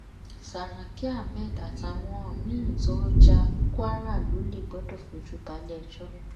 sàràkí ahmed àtàwọn míì tọ́n ja kwara lólè gbọdọ fojú baléẹjọ́